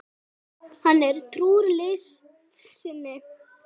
Hann er trúr list sinni.